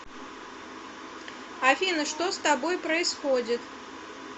афина что с тобой происходит